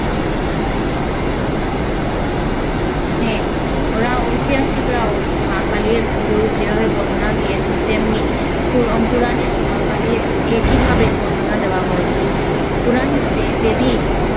হ্যা, ওরা ঐতিহাসিকরাও মা কালির রূপ যেভাবে বর্ণনা দিয়েছেন তেমনি পু~ পুরানেও মা কালির একইভাবে বর্ণনা দেওয়া হয়েছে। পুরাণমতে দেবী